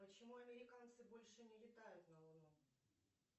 почему американцы больше не летают на луну